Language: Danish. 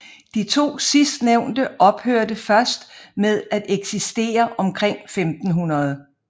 De to sidstnævnte ophørte først med at eksistere omkring 1500